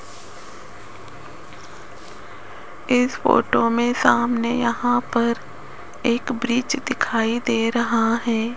इस फोटो में सामने यहां पर एक ब्रिज दिखाई दे रहा है।